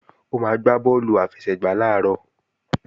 Ó máa gbá bọ́ọ̀lù àfẹsẹ̀gbá làárọ̀